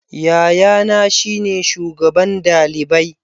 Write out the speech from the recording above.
Yayana shine shugaban dalibai.